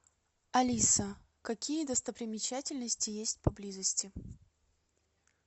алиса какие достопримечательности есть поблизости